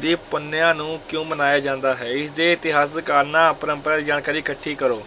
ਦੀ ਪੁੰਨਿਆ ਨੂੰ ਕਿਉਂ ਮਨਾਇਆ ਜਾਂਦਾ ਹੈ, ਇਸਦੇ ਇਤਿਹਾਸਕਾਰਨਾਂ ਜਾਣਕਾਰੀ ਇਕੱਠੀ ਕਰੋ